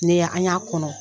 Ne y'an, an y'a kɔnɔ.